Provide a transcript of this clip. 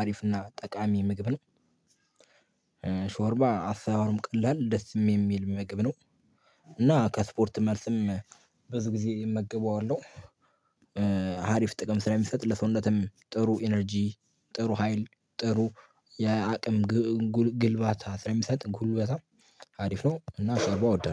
አሪፍ እና ጠቃሚ ምግብ ነው። ሾርባ አሰራሩም ቀላል ደስም እሚል ምግብ ነው። እና ከስፖርት መልስም ብዙ ጊዜ እመግበዋለሁ። አሪፍ ጥቅም ስለሚሰጥ ለሰውነትም ጥሩ ኢነርጂ ጥሩ ሀይል ጥሩ የአቅም ግልባታ ስለሚሰጥ ጉልበታ አሪፍ ነው። እና አርባ አወዳለው